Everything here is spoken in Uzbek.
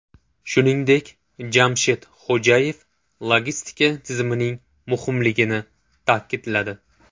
Shuningdek, Jamshid Xo‘jayev logistika tizimining muhimligini ta’kidladi.